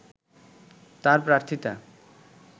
তার প্রার্থীতা